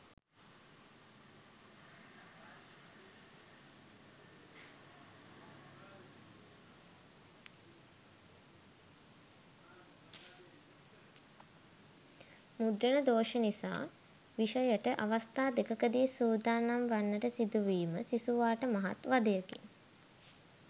මුද්‍රණ දෝෂ නිසා විෂයයට අවස්ථා දෙකකදී සූදානම් වන්නට සිදු වීම සිසුවාට මහත් වධයකි.